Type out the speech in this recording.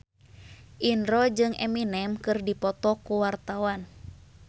Indro jeung Eminem keur dipoto ku wartawan